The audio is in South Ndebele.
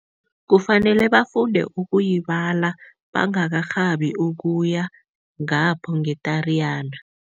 Kufanele bafunde ukuyibala bangakarhabi ukuya ngapho nge-Tariyana.